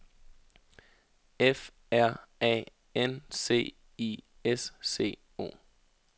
F R A N C I S C O